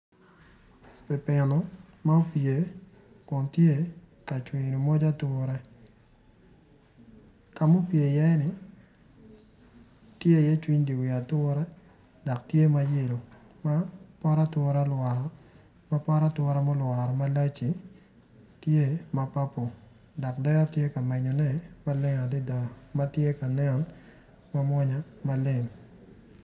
Opipino ma opye kun tye ka cwino moc ature ka mupye i iye-ni tye iye cwiny di wi ature dok tye mayelo ma pot atura olwokko ma pot ature mulworo malac-ci tye ma papo dok dero tye ka menyone maleng adida ma ti ka nen ma mwonya maleng